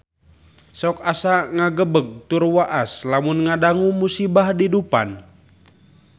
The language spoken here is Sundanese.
Sok asa ngagebeg tur waas lamun ngadangu musibah di Dufan